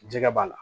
Jɛgɛ b'a la